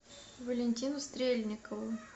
валентину стрельникову